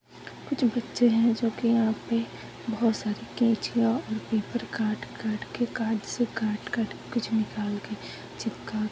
--कुछ बच्चे है जोकि यहाँ पे बोहत सारी कैंचिया और पेपर काट काट के कार्ड्स काट काट कुछ निकाल के चिपका--